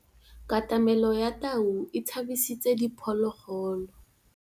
Katamêlô ya tau e tshabisitse diphôlôgôlô.